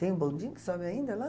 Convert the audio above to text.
Tem o bondinho que sobe ainda lá?